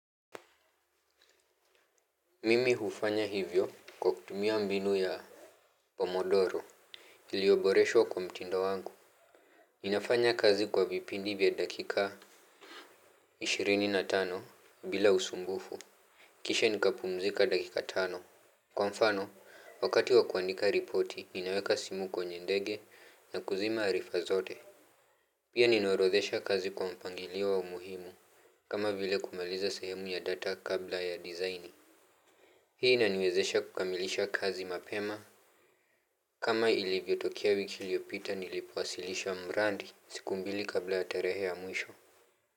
Mimi hufanya hivyo kwa kutumia mbinu ya Pomodoro ilioboreshwa kwa mtindo wangu. Ninafanya kazi kwa vipindi vya dakika ishirini na tano bila usumbufu. Kisha nikapumzika dakika tano. Kwa mfano wakati wa kuandika ripoti ninaweka simu kwenye ndege na kuzima arifa zote. Pia ninaorodhesha kazi kwa mpangilio wa umuhimu. Kama vile kumaliza sehemu ya data kabla ya design. Hii inaniwezesha kukamilisha kazi mapema. Kama ilivyotokea wiki iliopita nilipoasilisha mrandi, siku mbili kabla ya tarehe ya mwisho.